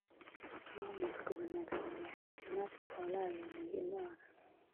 Maamulka wanaagsan ee caafimaadka xoolaha ayaa muhiim u ah wax soo saarka wanaagsan.